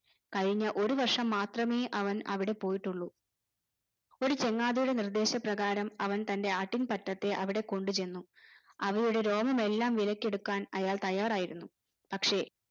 കഴിഞ്ഞ ഒരു വർഷം മാത്രമേ അവൻ അവിടെ പോയിട്ടുള്ളൂ ഒരു ചങ്ങാതിയുടെ നിർദ്ദേശ പ്രകാരം അവൻ തന്റെ ആട്ടിൻ പറ്റത്തെ അവിടെ കൊണ്ടു ചെന്നു അവയുടെ രോമമെല്ലാം വിലക്കെടുക്കാൻ അയാൾ തയാറായിരുന്നു പക്ഷെ